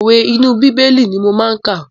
Òwe inú bíbélì ni mo máa kà.